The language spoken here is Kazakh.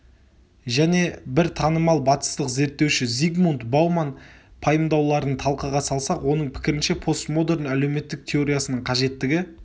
және бір танымал батыстық зерттеуші зигмунт бауман пайымдауларын талқыға салсақ оның пікірінше постмодерн әлеуметтік теориясының қажеттігі